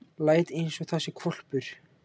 Læt einsog það sé hvolpur.